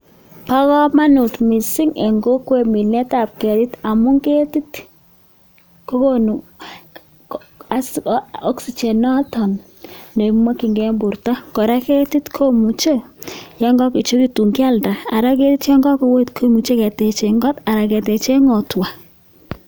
Bo komonut missing en kokwet minetap ketik amun ketit kogonu kabuset noton nekimokyiken en borto kora ketit komuche Yoon kakorechekitun kialda Ara ketit Yoon koet komuche ketechen koot anan kengoten ngotwa